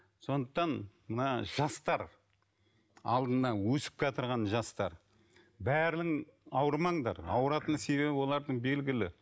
сондықтан мына жастар алдында өсіп келатырған жастар бәрің ауырмаңдар ауыратын себебі олардың белгілі